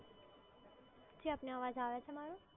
અવાજ આવે છે મારો?